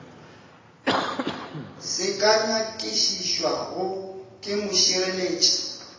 se ka nyakišišwago ke mošireletši